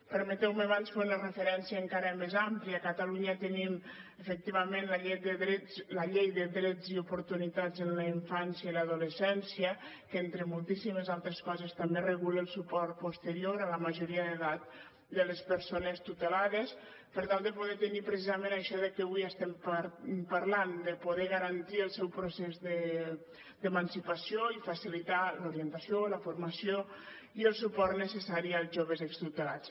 permeteu me abans fer una referència encara més àmplia a catalunya tenim efectivament la llei de drets i oportunitats en la infància i l’adolescència que entre moltíssimes altres coses també regula el suport posterior a la majoria d’edat de les persones tutelades per tal de poder tenir precisament això de què avui estem parlant de poder garantir el seu procés d’emancipació i facilitar l’orientació la formació i el suport necessaris als joves extutelats